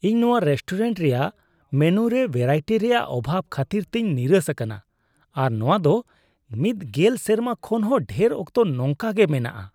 ᱤᱧ ᱱᱚᱣᱟ ᱨᱮᱥᱴᱳᱨᱮᱱᱴ ᱨᱮᱭᱟᱜ ᱢᱮᱱᱩ ᱨᱮ ᱵᱷᱮᱨᱟᱭᱴᱤ ᱨᱮᱭᱟᱜ ᱚᱵᱷᱟᱵᱽ ᱠᱷᱟᱹᱛᱤᱨ ᱛᱮᱧ ᱱᱤᱨᱟᱥ ᱟᱠᱟᱱᱟ ᱟᱨ ᱱᱚᱣᱟ ᱫᱚ ᱢᱤᱫ ᱜᱮᱞ ᱥᱮᱨᱢᱟ ᱠᱷᱚᱱ ᱦᱚᱸ ᱰᱷᱮᱨ ᱚᱠᱛᱚ ᱱᱚᱝᱠᱟ ᱜᱮ ᱢᱮᱱᱟᱜᱼᱟ ᱾